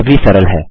यह भी सरल है